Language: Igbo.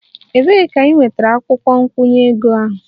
Ebee ka ị nwetara akwukwo nkwụnye ego ahụ?